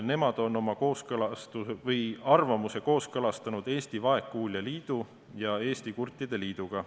Nemad on oma arvamuse kooskõlastanud Eesti Vaegkuuljate Liidu ja Eesti Kurtide Liiduga.